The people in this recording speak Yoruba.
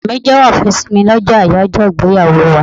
Ọkọ mi jewo ìfẹ́ sí mi lọ́jọ́ ayajo ìgbéyàwó wá.